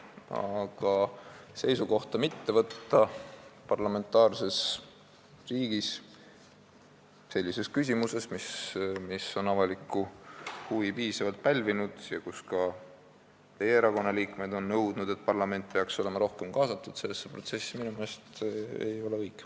Aga minu meelest ei ole õige mitte võtta parlamentaarses riigis seisukohta sellises küsimuses, mis on piisavalt avalikku huvi pälvinud ja mille puhul on ka teie erakonna liikmed nõudnud, et parlament peaks olema rohkem sellesse protsessi kaasatud.